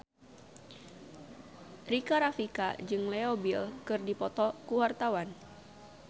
Rika Rafika jeung Leo Bill keur dipoto ku wartawan